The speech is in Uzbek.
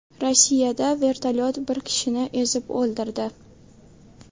Rossiyada vertolyot bir kishini ezib o‘ldirdi.